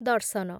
ଦର୍ଶନ